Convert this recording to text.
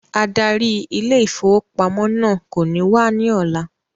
Adarí ile-ìfowópamó náà kò ní wá ní ọ̀la